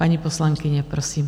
Paní poslankyně, prosím.